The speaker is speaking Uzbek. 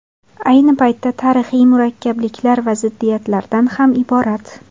Ayni paytda, tarixy murakkabliklar va ziddiyatlardan ham iborat.